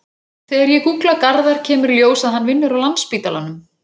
Þegar ég gúgla Garðar kemur í ljós að hann vinnur á Landspítalanum.